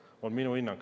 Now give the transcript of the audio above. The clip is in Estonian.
See on minu hinnang.